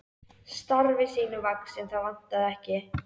Starfi sínu vaxinn, það vantaði ekki.